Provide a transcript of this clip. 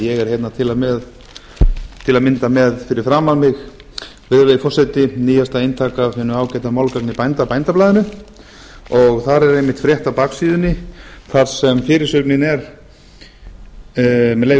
ég er hérna til að mynda fyrir framan mig virðulegi forseti nýjasta eintakið af hinu ágæta málgagni bænda bændablaðinu þar er einmitt frétt á baksíðunni þar sem fyrirsögnin er með leyfi